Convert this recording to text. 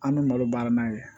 An bɛ malo baara n'a ye